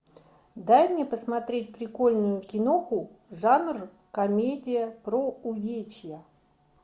дай мне посмотреть прикольную киноху жанр комедия про увечья